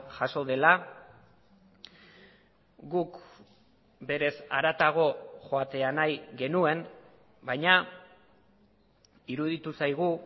jaso dela guk berez haratago joatea nahi genuen baina iruditu zaigu